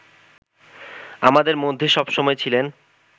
আমাদের মধ্যে সবসময় ছিলেন